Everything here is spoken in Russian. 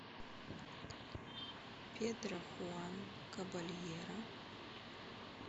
педро хуан кабальеро